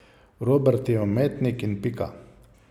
Robert je umetnik in pika.